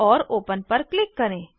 और ओपन पर क्लिक करें